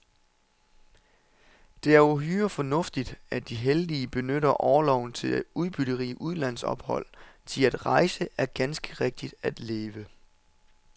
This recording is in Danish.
Det er uhyre fornuftigt, at de heldige benytter orloven til udbytterige udlandsophold, thi at rejse er ganske rigtigt at leve.